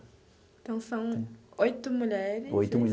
Então, são oito mulheres. Oito